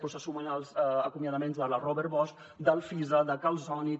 s’hi sumen els acomiadaments de la robert bosch d’alfisa de calsonic